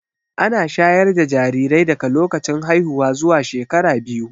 Ana shayar da jarirai daga lokacin haihuwa zuwa shekara biyu